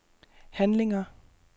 handlinger